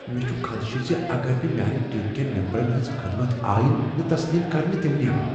مےٚ چھ خدشِہ زِ اگر نہٕ میانِہ ٹیم کین ممبرن ہٕنز خدمت آیِہ نہ تسلیم کرنہٕ تِم نیرن ۔